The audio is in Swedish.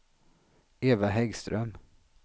Eva Häggström